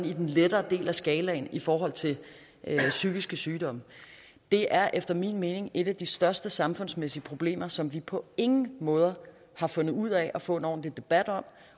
i den lettere del af skalaen i forhold til psykiske sygdomme det er efter min mening et af de største samfundsmæssige problemer som vi på ingen måde har fundet ud af at få en ordentlig debat om